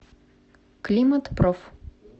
климатпроф